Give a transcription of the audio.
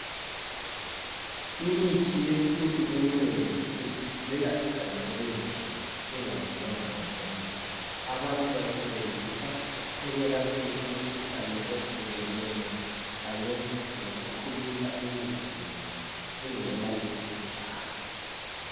Imithi yesintu eminengi ikhulela egangeni nje ingalinywangwa ngumuntu. Abantu bayisebenzisa ekwelapheni imikhuhlane ehlukeneyo kanye lokukhulisa imizimba ingela mikhuhlane